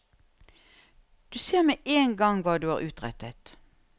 Du ser med en gang hva du har utrettet.